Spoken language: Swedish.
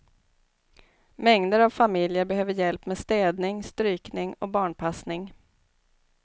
Mängder av familjer behöver hjälp med städning, strykning och barnpassning.